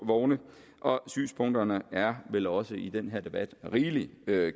vogne og synspunkterne er vel også i den her debat rigelig